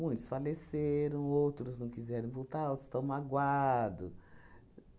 Muitos faleceram, outros não quiseram voltar, outros estão magoado.